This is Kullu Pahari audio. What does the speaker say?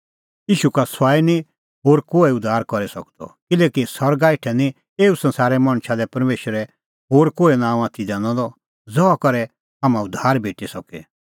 ईशू का सुआई निं होर कोहै उद्धार करी सकदअ किल्हैकि सरगा हेठै निं एऊ संसारै मणछा लै परमेशरै होर कोहै नांअ आथी दैनअ द ज़हा करै हाम्हां उद्धार भेटी सके